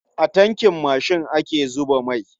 A tankin mashin ake zuba mai.